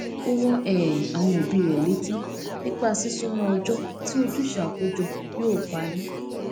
ó rán um àwọn òbí rẹ létí nípa sísúnmọ ọjọ tí ojúṣe àkójọ yóò parí